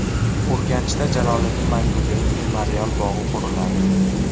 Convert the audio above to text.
Urganchda Jaloliddin Manguberdi memorial bog‘i quriladi.